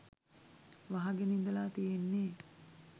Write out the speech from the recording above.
වහගෙන ඉඳලා තියෙන්නේ.